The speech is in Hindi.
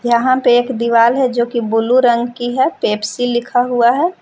यहां पे एक दीवाल है जो की ब्लू रंग की है पेप्सी लिखा हुआ है।